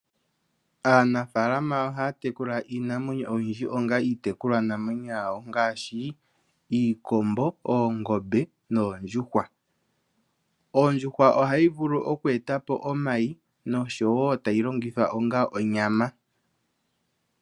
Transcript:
Aanafalama ohaya tekula iinamwenyo oyindji onga iitekulwanamwenyo yawo ngaashi, iikombo, oongombe noondjuhwa. Ondjuhwa ohayi vulu okweeta po omayi noshowo tayi longithwa onga onyama.